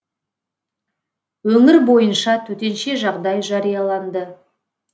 өңір бойынша төтенше жағдай жарияланды